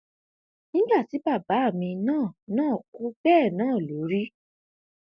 nígbà tí bàbá mi náà náà kú bẹẹ náà ló rí